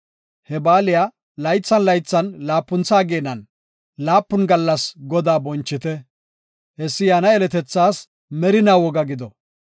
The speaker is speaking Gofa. He baaliya laythan laythan laapuntha ageenan laapun gallas Godaa bonchite. Hessi yaana yeletethaas merinaa woga gido.